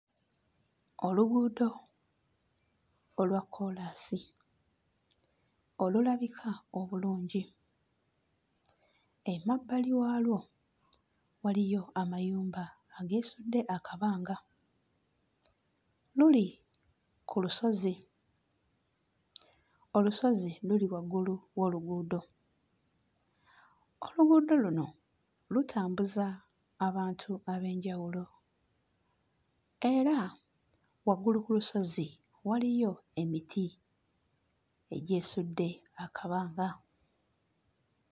Oluguudo olwa kkoolaasi olulabika obulungi. Emabbali waalwo waliyo amayumba ageesudde akabanga, luli ku lusozi, olusozi luli waggulu w'oluguudo; oluguudo luno lutambuza abantu ab'enjawulo era waggulu ku lusozi waliyo emiti egyesudde akabanga.